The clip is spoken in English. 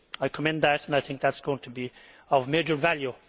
I commend that and I think that is going to be of major value.